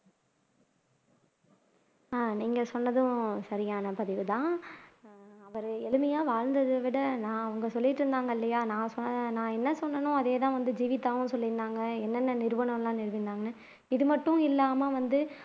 ஆஹ் நீங்க சொன்னதும் சரியான பதிவுதான் அவர் எளிமையா வாழ்ந்ததைவிட நான் அவங்க சொல்லிட்டு இருந்தாங்க இல்லையா நான் என்ன சொன்னானோ அதேதான் வந்து ஜீவிதாவும் சொல்லி இருந்தாங்க என்னென்ன நிறுவனங்கள் எல்லாம் நிறுவினாங்கன்னு இது மட்டும் இல்லாம வந்து